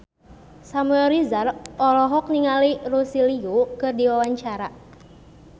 Samuel Rizal olohok ningali Lucy Liu keur diwawancara